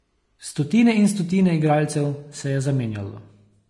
Stotine in stotine igralcev se je zamenjalo.